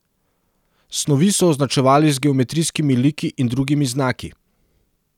Snovi so označevali z geometrijskimi liki in drugimi znaki.